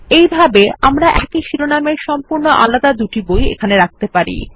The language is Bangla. এইভাবে আমরা একই শিরোনামের সম্পূর্ণ আলাদা দুটি বই এখানে রাখতে পারি